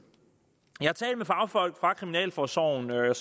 jeg har talt med fagfolk fra kriminalforsorgen jeg